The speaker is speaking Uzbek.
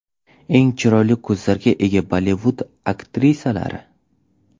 Eng chiroyli ko‘zlarga ega Bollivud aktrisalari .